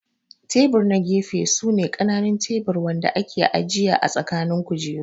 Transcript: Tebur na gefe su ne kananun tebur Wanda ake ajiya ã tsakanin kujeru.